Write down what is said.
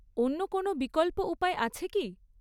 অন্য কোনও বিকল্প উপায় আছে কি?